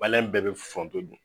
Maliyɛn bɛɛ be foronto dun